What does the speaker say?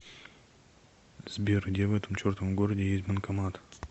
сбер где в этом чертовом городе есть банкомат